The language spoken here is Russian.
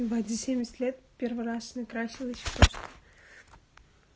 ебать за семьдесят лет первый раз накрасилась просто